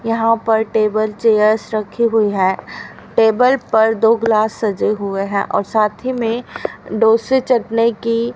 यहां पर table chairs रखी हुई है टेबल पर दो ग्लास सजे हुए हैं और साथ ही में डोसे चटने की--